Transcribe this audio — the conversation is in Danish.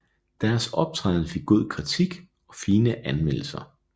Deres optræden fik god kritik og fine anmeldelser